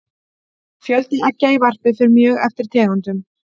fjöldi eggja í varpi fer mjög eftir tegundum